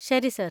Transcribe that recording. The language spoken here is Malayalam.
ശരി, സർ.